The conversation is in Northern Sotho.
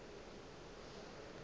o be a tseba gore